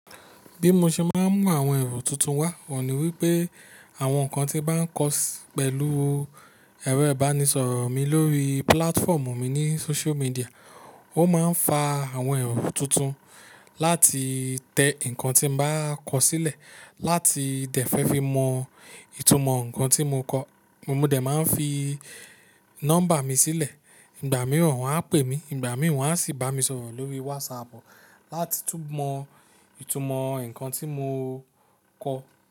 Bí mo ṣe máa ń mú àwọn èrò tuntun wá, wọ̀ ni wípé àwọn nǹkan tí bá ń kọ pẹ̀lú ẹrẹo ìbánisọ̀rọ̀ mi lórí pílátfọ́ọ̀mù mi ní sóṣú midià, ó máa ń fa àwọn èrò tuntun láti tẹ ǹkan tí mo bá kọ sílẹ̀, láti dẹ̀ fẹ́ fi mọ ìtumọ̀ ǹkan tí mo kọ̀. Mo dẹ̀ máa ń fi nọ́mbà mi sílẹ̀, ìgbà mìíràn wọ́n á pè mí, ìgbà mìíràn wọ́n á sì bá mi sọ̀rọ̀ lórí wásapù láti tú mọ ìtumọ̀ ǹkan tí mo kọ.